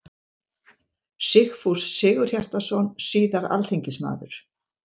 Sigfús Sigurhjartarson, síðar alþingismaður.